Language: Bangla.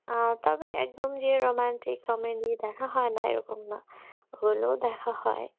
আহ তবে যে একদম romantic comedy দেখা হয়ে না সেরকম না হলেও দেখা হয়